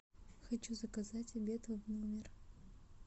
хочу заказать обед в номер